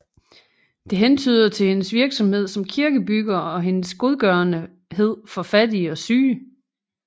Det hentyder til hendes virksomhed som kirkebygger og hendes godgørenhed for fattige og syge